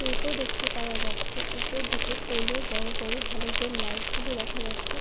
টোটো দেখতে পাওয়া যাচ্ছে উপর দিকে পোলে বড় বড় হেলোজেন লাইট গুলো দেখা যাচ্ছে।